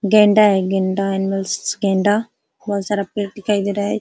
गैंडा है। गैंडा एनिमल्स । गैंडा बहोत सारा पेड़ दिखाई दे रहा है।